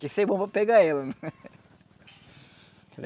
Tem que ser bom para pegar ela.